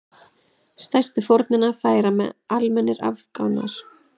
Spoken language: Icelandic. Stærstu fórnina færa almennir Afganar.